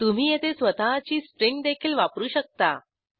तुम्ही येथे स्वतःची स्ट्रिंग देखील वापरू शकता